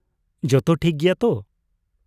ᱡᱚᱛᱚ ᱴᱷᱤᱠ ᱜᱮᱭᱟ ᱛᱚ ?